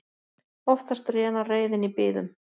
Oftast rénar reiðin í biðum.